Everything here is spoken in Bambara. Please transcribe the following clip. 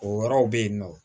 O yɔrɔw be yen nɔ